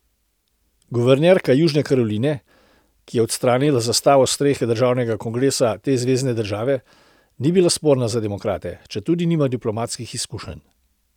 Guvernerka Južne Karoline, ki je odstranila zastavo s strehe državnega kongresa te zvezne države, ni bila sporna za demokrate, četudi nima diplomatskih izkušenj.